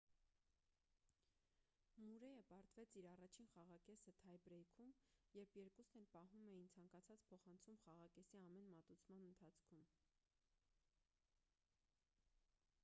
մուրեյը պարտվեց իր առաջին խաղակեսը թայ-բրեյքում երբ երկուսն էլ պահում էին ցանկացած փոխանցում խաղակեսի ամեն մատուցման ընթացքում